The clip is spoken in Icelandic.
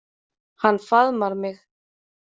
Hann faðmar mig.